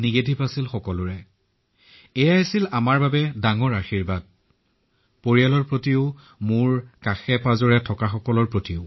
সকলো ফলাফল ঋণাত্মক আহিছিল এয়াই আমাৰ পৰিয়ালৰ বাবে চৌপাশৰ লোকৰ বাবে আটাইতকৈ ডাঙৰ আশীৰ্বাদ আছিল